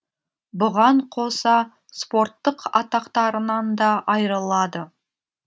бұған қоса спорттық атақтарынан да айырылады